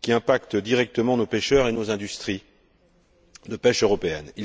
qui influe directement sur nos pêcheurs et nos industries de pêche européennes.